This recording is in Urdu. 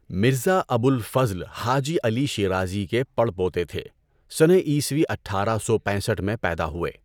مرزا ابو الفضل حاجی علی شیرازی کے پڑ پوتے تھے۔ سنہ عیسوی اٹھارہ سو پینسٹھ میں پیدا ہوئے۔